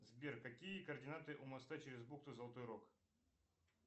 сбер какие координаты у моста через бухту золотой рог